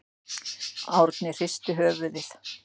Árni hristi höfuðið.